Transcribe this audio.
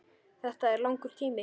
Þetta er langur tími.